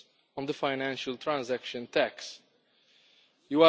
on the Financial Transaction Tax You